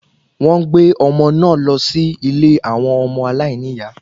Wọ́n gbé ọmọ náà lọ sí ilé àwọn ọmọ aláìníyà